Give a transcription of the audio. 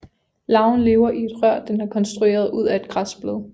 Larven lever i et rør den har konstrueret ud af et græsblad